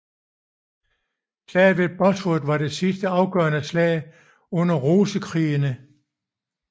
Slaget ved Bosworth var det sidste afgørende slag under Rosekrigene